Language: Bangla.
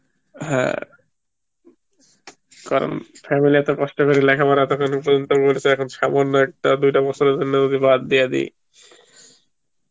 হ্যাঁ কারণ family এত কষ্ট করে লেখা পরার তো এখন করতে বলছে এখন সামান্য একটা দুইটা বছর এর জন্য যদি বাদ দিয়া দি